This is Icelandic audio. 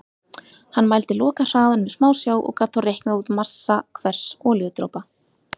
Hann mældi lokahraðann með smásjá og gat þá reiknað út massa hvers olíudropa.